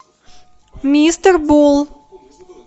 мистер бол